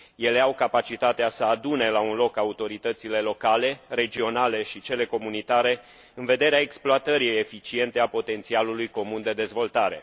Ele au capacitatea să adune la un loc autoritățile locale, regionale și cele comunitare în vederea exploatării eficiente a potențialului comun de dezvoltare.